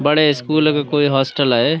بڑے سکولوں کا کوئی ہوسٹل ہیں۔